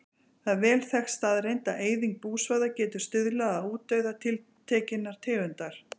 Það er vel þekkt staðreynd að eyðing búsvæða getur stuðlað að útdauða tiltekinnar tegundar.